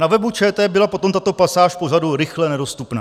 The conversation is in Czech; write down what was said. Na webu ČT byla potom tato pasáž pořadu rychle nedostupná.